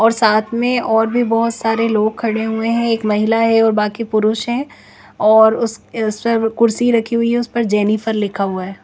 और साथ में और भी बहोत सारे लोग खड़े हुए हैं एक महिला है और बाकि पुरुष है और उस शर्व कुर्सी रखी हुई है उसे पर जेनिफर लिखा हुआ है।